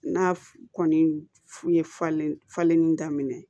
N'a kɔni fu ye falen falenni daminɛ